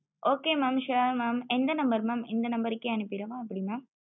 okay mam sure mam எந்த number mam இந்த number கே அனுபிறவா எப்டி mam